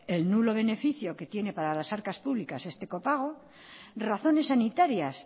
el nulo beneficio que tiene para las arcas públicas este copago razones sanitarias